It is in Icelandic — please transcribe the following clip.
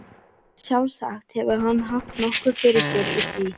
Sjálfsagt hefur hann haft nokkuð fyrir sér í því.